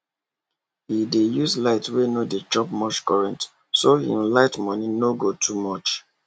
he dey use bulbs wey no dey chop much current so him light money no go too much